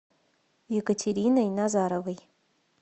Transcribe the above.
екатериной назаровой